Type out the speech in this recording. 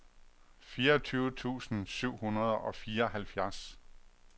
fireogtyve tusind syv hundrede og fireoghalvfjerds